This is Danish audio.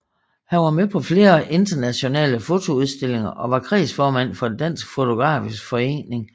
Han var med på flere internationale fotoudstillinger og var kredsformand for Dansk Fotografisk Forening